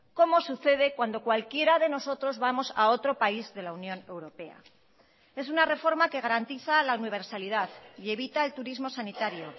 como sucede cuando cualquiera de nosotros vamos a otro país de la unión europea es una reforma que garantiza la universalidad y evita el turismo sanitario